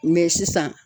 Mɛ sisan